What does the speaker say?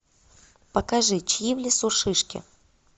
покажи чьи в лесу шишки